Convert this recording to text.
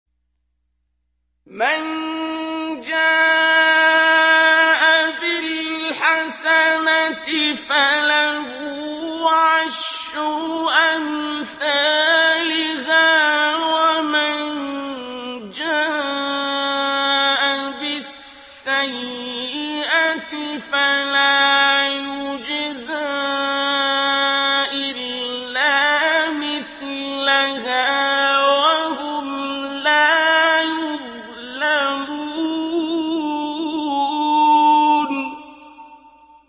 مَن جَاءَ بِالْحَسَنَةِ فَلَهُ عَشْرُ أَمْثَالِهَا ۖ وَمَن جَاءَ بِالسَّيِّئَةِ فَلَا يُجْزَىٰ إِلَّا مِثْلَهَا وَهُمْ لَا يُظْلَمُونَ